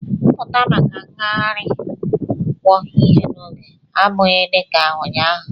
Pụta maka ngagharị nkwo ihe n'oge, ọ bụghị dị ka ụnyaahụ!